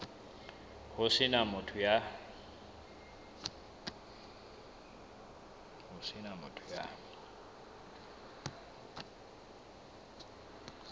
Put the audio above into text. ho se na motho ya